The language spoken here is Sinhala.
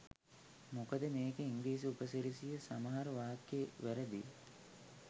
මොකද මේකේ ඉංග්‍රීසි උපසිරසේ සමහර වාක්‍ය වැරදියි.